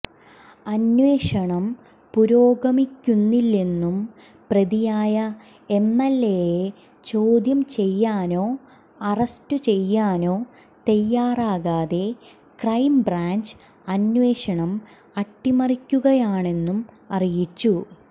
അന്വേഷണം പുരോഗമിക്കുന്നില്ലെന്നും പ്രതിയായ എംഎൽഎയെ ചോദ്യം ചെയ്യാനോ അറസ്റ്റു ചെയ്യാനോ തയ്യാറാകാതെ ക്രൈം ബ്രാഞ്ച് അന്വേഷണം അട്ടിമറിക്കുകയാണെന്നും അറിയിച്ചു